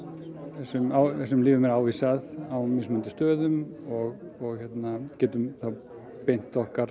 þessum lyfjum er ávísað á mismunandi stöðum og getum þá beint okkar